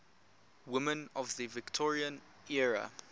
women of the victorian era